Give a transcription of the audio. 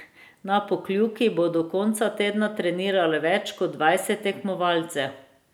Na Pokljuki bo do konca tedna treniralo več kot dvajset tekmovalcev.